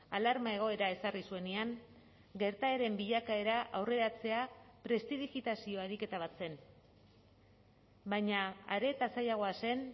alarma egoera ezarri zuenean gertaeren bilakaera aurreratzea prestidigitazio ariketa bat zen baina are eta zailagoa zen